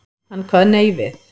Hann kvað nei við.